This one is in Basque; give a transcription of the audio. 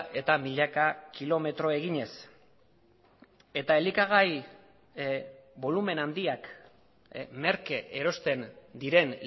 eta milaka kilometro eginez eta elikagai bolumen handiak merke erosten diren